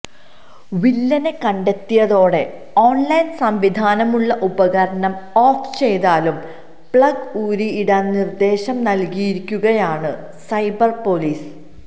വില്ലനെ കണ്ടെത്തിയതോടെ ഓണ്ലൈന് സംവിധാമുള്ള ഉപകരണം ഓഫ് ചെയ്താലും പ്ലഗ് ഊരിയിടാന് നിര്ദ്ദേശം നല്കിയിരിക്കുകയാണ് സൈബര് പോലീസ്